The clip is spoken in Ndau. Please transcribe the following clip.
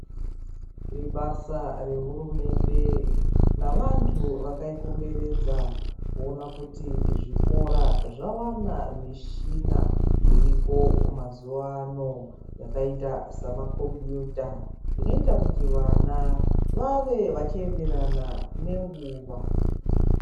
Ibasa rehurumende navantu vakaikomberedza kuona kuti zvikora zvawana mishina iriko mazuwa ano yakaita samakombiyuta, inoita kuti vana vave vachienderana nenguwa.